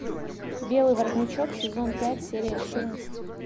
белый воротничок сезон пять серия четырнадцать